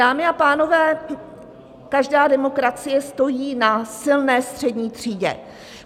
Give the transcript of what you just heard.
Dámy a pánové, každá demokracie stojí na silné střední třídě.